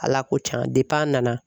Ala ko tiɲan a nana.